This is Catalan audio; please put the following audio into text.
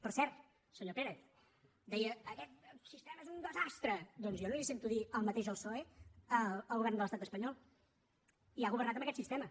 per cert senyor pérez deia aquest sistema és un desastre doncs jo no li sento dir el mateix al psoe al govern de l’estat espanyol i ha governat amb aquest sistema